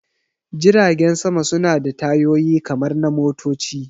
Jiragen sama suna da tayoyi kamar na motoci